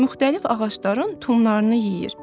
Müxtəlif ağacların tumlarını yeyir.